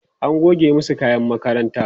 an goge masu kayan makaranta